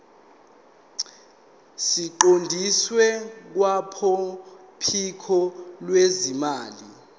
siqondiswe kwabophiko lwezimali